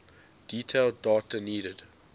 detailed data needed